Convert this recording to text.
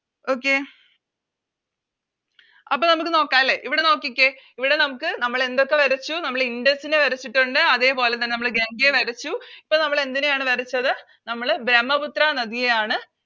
Okay അപ്പൊ നമുക്ക് നോക്കല്ലേ ഇവിടെ നോക്കിക്കേ ഇവിടെ നമുക്ക് നമ്മളെന്തൊക്കെ വരച്ചു നമ്മൾ ഇൻഡസ് നെ വരച്ചിട്ടൊണ്ട് അതേപോലെതന്നെ നമ്മള് ഗംഗയെ വരച്ചു ഇപ്പൊ നമ്മളെന്തിനെയാണ് വരച്ചത് നമ്മള് ബ്രഹ്മപുത്ര നദിയെയാണ്